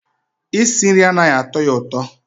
Isi nri anaghị atọ ya ụtọ